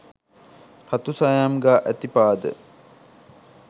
රතුසායම් ගා ඇති පාද,